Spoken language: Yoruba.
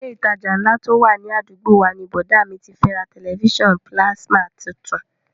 Ilé ìtajà ńlá tó wà ní àdúgbò wa ni bọ̀dá à mi ti ra tẹ̀lifísàn pílásímà tuntun